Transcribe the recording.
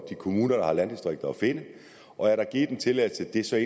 kommuner der har landdistrikter at finde er der givet en tilladelse